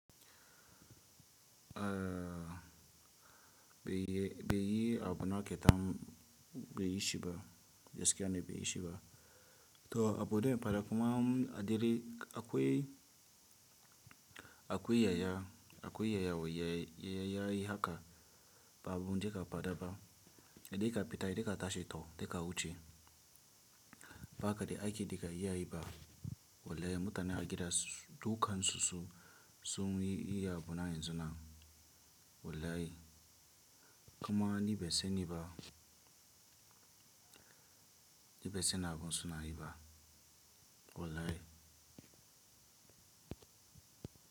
Ah be yi, be yi abu na ƙetamo, be yi shi ba, gaskiya ne be yi shi ba. To abu dai faɗa kuma adiri akwai, akwai yaya, akwai yayawa yaya, yayayi haka babu duka faɗa ba. Dai ka fita dai ka tashi to dai ka wuce. Baka da aiki daka iyayi ba. Wallahi mutane har gida dukan su su, sun yi iya bunayen suna. Wallahi. Kuma ni ban sani ba. Ni bai san abin suna yi ba. Wallahi.